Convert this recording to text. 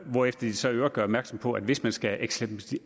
hvorefter de så i øvrigt gør opmærksom på at hvis man skal eksemplificere